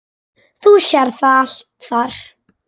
Þú sérð það allt þar.